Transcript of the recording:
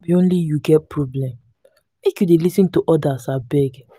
no be only you get problem make you dey lis ten to odas abeg.